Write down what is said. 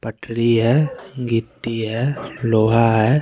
पटड़ी है गिट्टी है लोहा है।